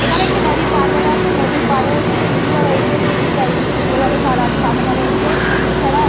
এখানে একটি নদীর পাড় দেখা যাচ্ছে। নদীর পাড়ে একটি সিঁড়িও রয়েছে সিঁড়ির চারিদিকে সুন্দরভাবে সাজানো রয়েছে এছাড়া--